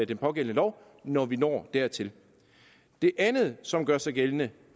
den pågældende lov når vi når dertil det andet som gør sig gældende